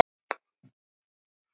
Tveir dalir yfirbót tveir dalir.